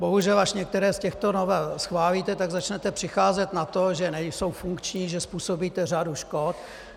Bohužel až některé z těchto novel schválíte, tak začnete přicházet na to, že nejsou funkční, že způsobíte řadu škod.